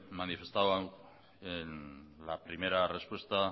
manifestado en la primera respuesta